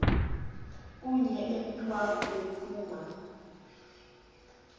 kunye emthwaku bephuma